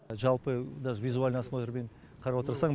жалпы даже визуальный осмотрмен қарап отырсаң